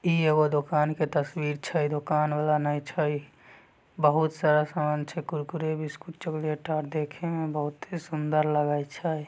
इ ईगो दूकान के तस्वीर छै दूकान वाला ने छै बहुत-सारा समान छै कुरकुरे बिस्कुट चॉकलेट आर देखे मे बहुते सुंदर लगय छै।